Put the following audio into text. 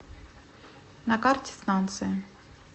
на карте станция